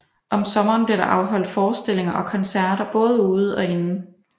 Om sommeren bliver der afholdt forestillinger og koncerter både ude og inde